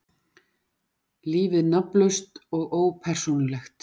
Lífið nafnlaust og ópersónulegt.